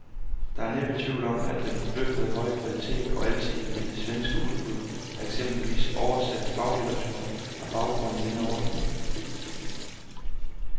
Der er næppe tvivl om, at den forbløffende høje kvalitet og alsidighed i det svenske udbud af eksempelvis oversat faglitteratur har baggrund i denne ordning.